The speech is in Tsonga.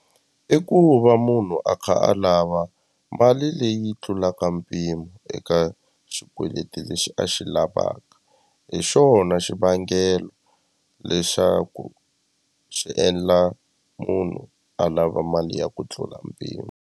I ku va munhu a kha a lava mali leyi tlulaka mpimo eka xikweleti lexi a xi lavaka hi xona xivangelo lexaku xi endla munhu a lava mali ya ku tlula mpimo.